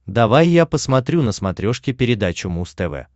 давай я посмотрю на смотрешке передачу муз тв